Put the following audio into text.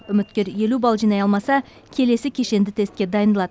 үміткер елу бал жинай алмаса келесі кешенді тестке дайындалады